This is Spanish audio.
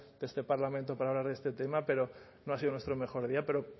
de este parlamento para hablar de este tema pero no ha sido nuestro mejor día pero